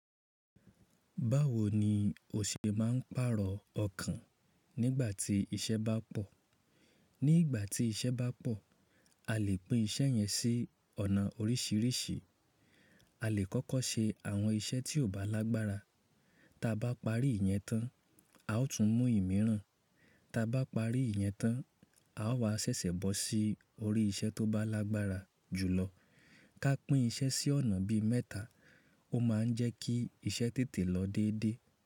Báwo ni o ṣe máa ń pàrọ̀ ọkàn nígbà tí iṣẹ́ bá pọ̀? Ní ìgbà tí iṣẹ́ bá pọ̀, a lè pín iṣẹ́ yẹn sí ọ̀nà oríṣiríṣi. A lè kọ́kọ́ ṣe àwọn iṣẹ́ tí ò bá lágbára. Ta bá parí ìyẹn tán, a ó tún mú ìmíràn. Ta bá parí ìyẹn tán, a ó wá ṣẹ̀ṣẹ̀ bọ́ sí orí iṣẹ́ tó bá lágbára jùlọ. Ka pín iṣẹ́ sí ọ̀nà bí mẹ́ta, ó máa ń jẹ́ kí iṣẹ́ tètè lọ déédé.